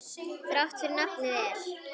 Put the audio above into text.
Þrátt fyrir nafnið er.